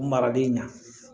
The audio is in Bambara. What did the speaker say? Marali ɲɛ